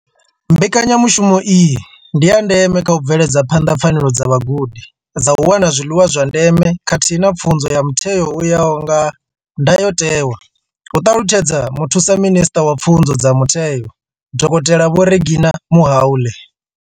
Mbekanya mushumo iyi ndi ya ndeme kha u bveledza phanḓa pfanelo dza vhagudi dza u wana zwiḽiwa zwa ndeme khathihi na pfunzo ya mutheo u ya nga ndayotewa, hu ṱalutshedza Muthusaminisṱa wa Pfunzo dza Mutheo, Dokotela Vho Reginah Mhaule.